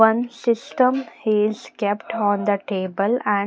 One system is kept on the table and --